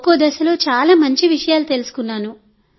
ఒక్కో దశలో చాలా మంచి విషయాలు నేర్చుకున్నాం